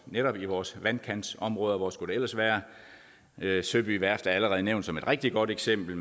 netop i vores vandkantsområde hvor skulle det ellers være søby værft er allerede nævnt som et rigtig godt eksempel